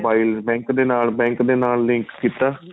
mobile bank ਦੇ bank ਨਾਲ link ਕੀਤਾ